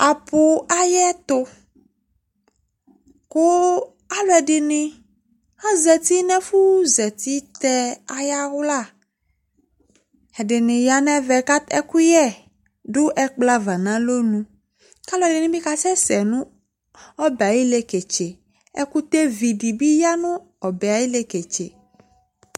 Apʋ ayɛtʋ kʋ alʋɛdɩnɩ azati nʋ ɛfʋzati tɛ ayawla Ɛdɩnɩ ya nʋ ɛvɛ kʋ a ɛkʋyɛ dʋ ɛkplɔ ava nʋ alɔnu kʋ alʋɛdɩnɩ bɩ kasɛsɛ nʋ ɔbɛ yɛ ayʋ ileketse Ɛkʋtɛvi dɩ bɩ ya nʋ ɔbɛ yɛ ayʋ ileketse